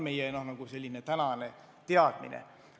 See on meie tänane teadmine.